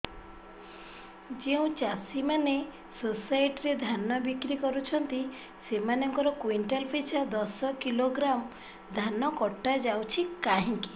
ଯେଉଁ ଚାଷୀ ମାନେ ସୋସାଇଟି ରେ ଧାନ ବିକ୍ରି କରୁଛନ୍ତି ସେମାନଙ୍କର କୁଇଣ୍ଟାଲ ପିଛା ଦଶ କିଲୋଗ୍ରାମ ଧାନ କଟା ଯାଉଛି କାହିଁକି